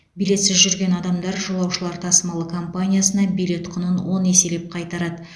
билетсіз жүрген адамдар жолаушылар тасымалы компаниясына билет құнын он еселеп қайтарады